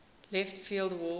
left field wall